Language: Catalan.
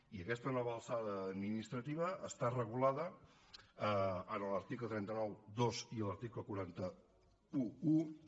i aquesta nova alçada administrativa està regulada en l’article tres cents i noranta dos i en l’article quatre cents i onze